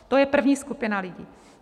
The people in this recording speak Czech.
To je první skupina lidí.